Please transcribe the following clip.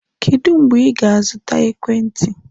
Kedu mgbe ị ga-azụta ekwentị?